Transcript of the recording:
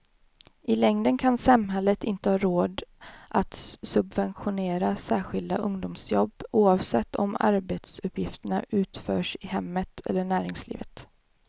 I längden kan samhället inte ha råd att subventionera särskilda ungdomsjobb, oavsett om arbetsuppgifterna utförs i hemmet eller näringslivet.